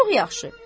Çox yaxşı.